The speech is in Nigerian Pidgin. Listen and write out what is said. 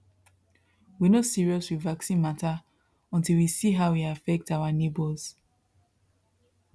we no serious with vaccine matter until we see how e affect our neighbors